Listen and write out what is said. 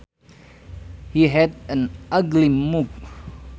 He had an ugly mug